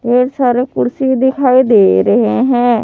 ढेर सारे कुर्सी दिखाई दे रहे हैं।